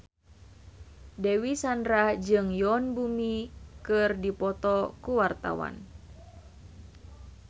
Dewi Sandra jeung Yoon Bomi keur dipoto ku wartawan